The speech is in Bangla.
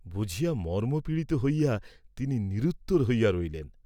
বুঝিয়া মর্ম্মপীড়িত হইয়া তিনি নিরুত্তর হইয়া রহিলেন।